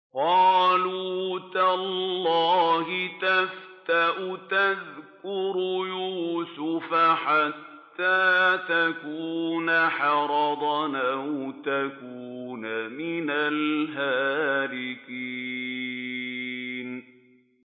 قَالُوا تَاللَّهِ تَفْتَأُ تَذْكُرُ يُوسُفَ حَتَّىٰ تَكُونَ حَرَضًا أَوْ تَكُونَ مِنَ الْهَالِكِينَ